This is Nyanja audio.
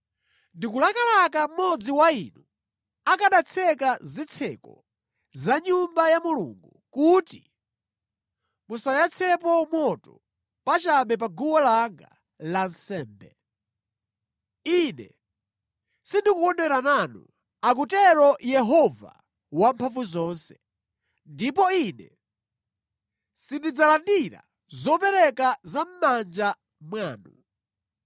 “Ndikulakalaka mmodzi wa inu akanatseka zitseko za Nyumba ya Mulungu, kuti musayatsemo moto pachabe pa guwa langa lansembe! Ine sindikukondwera nanu,” akutero Yehova Wamphamvuzonse, “ndipo Ine sindidzalandira zopereka za mʼmanja mwanu.